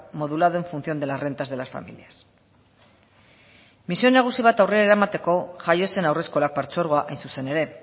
modulado en función de las rentas de las familias misio nagusi bat aurrera eramateko jaio zen haurreskolak partzuergoa hain zuzen ere